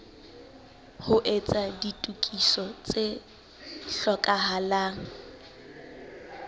ho etsa ditokiso tse hlokahalang